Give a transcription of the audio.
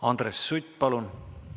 Andres Sutt, palun!